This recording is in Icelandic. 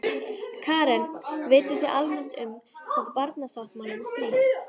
Karen: Vitið þið almennt um hvað barnasáttmálinn snýst?